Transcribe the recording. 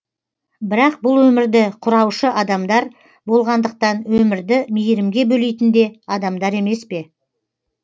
бірақ бұл өмірді құраушы адамдар болғандықтан өмірді мейірімге бөлейтінде адамдар емес пе